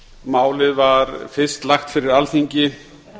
málið var fyrst lagt fyrir alþingi